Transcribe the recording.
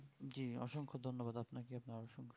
জি অসংখ ধন্যবাদ আপনাকে পাওয়ার জন্য